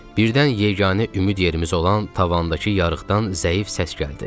Birdən yeganə ümid yerimiz olan tavandakı yarıqdan zəif səs gəldi.